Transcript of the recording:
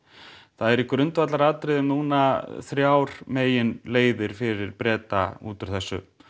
það eru í grundvallaratriðum núna þrjár meginleiðir fyrir Breta út úr þessu